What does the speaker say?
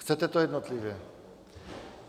Chcete to jednotlivě?